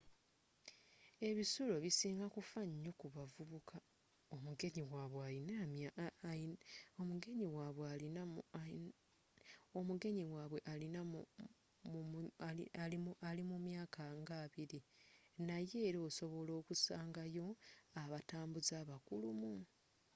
ebisulo bisinga kufaayo nyo ku bavubuka omugenyi wabwe ali mumyaka nga abbiri naye era osobola okusangayo abatambuze abakulumu